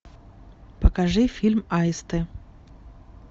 покажи фильм аисты